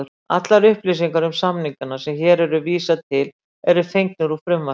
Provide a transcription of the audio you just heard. Allar upplýsingar um samningana sem hér er vísað til eru fengnar úr frumvarpinu.